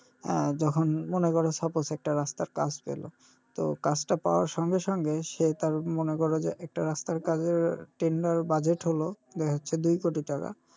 আহ যখন মনে করো suppose একটা রাস্তার কাজ পেলো তো কাজটা পাওয়ার সঙ্গে সঙ্গে সে তার মনে করো যে একটা রাস্তার কাজের tender budget হলো দেখা যাচ্ছে দুই কোটি টাকা,